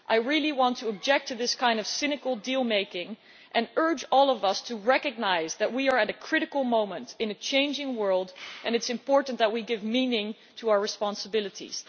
I really want to object to this kind of cynical deal making and urge all of us to recognise that we are at a critical moment in a changing world and it is important that we give meaning to our responsibilities.